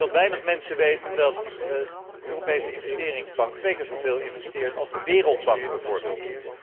Ik denk dat weinig mensen weten dat de Europese Investeringsbank twee keer zoveel investeert als de Wereldbank bijvoorbeeld.